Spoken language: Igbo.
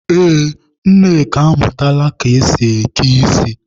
Ee, Nneka amụtala ka esi eke ísí.